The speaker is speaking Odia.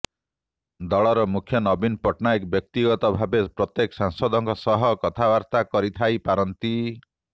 ଦଳର ମୁଖ୍ୟ ନବୀନ ପଟ୍ଟନାୟକ ବ୍ୟକ୍ତିଗତ ଭାବେ ପ୍ରତ୍ୟେକ ସାଂସଦଙ୍କ ସହ କଥାବାର୍ତ୍ତା କରିଥାଇ ପାରନ୍ତି